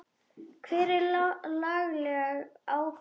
Hver er lagaleg ábyrgð?